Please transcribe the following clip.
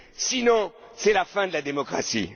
Sinon, c'est la fin de la démocratie!